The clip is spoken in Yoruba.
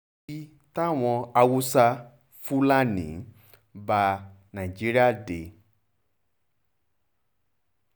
i táwọn haúsá-fulani bá nàìjíríà dé